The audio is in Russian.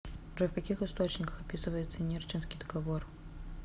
джой в каких источниках описывается нерчинский договор